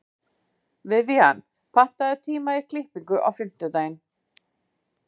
Vivian, pantaðu tíma í klippingu á fimmtudaginn.